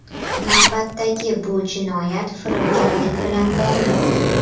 Navbatdagi bu jinoyat firibgarlik bilan bog‘liq.